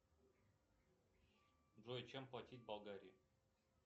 джой чем платить в болгарии